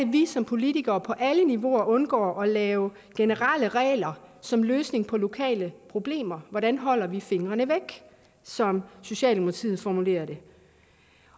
vi som politikere på alle niveauer undgår at lave generelle regler som løsning på lokale problemer hvordan holder vi fingrene væk som socialdemokratiet formulerer det